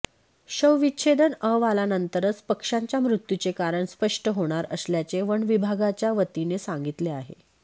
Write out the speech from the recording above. शवविच्छेदन अहवालानंतरच पक्ष्यांच्या मृत्यूचे कारण स्पष्ट होणार असल्याचे वनविभागाच्या वतीने सांगितले आले